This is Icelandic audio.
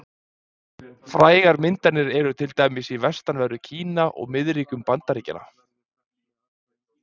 Frægar myndanir eru til dæmis í vestanverðu Kína og miðríkjum Bandaríkjanna.